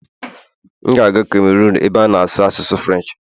M ga-aga Cameron ebe a na-asụ asụsụ Firench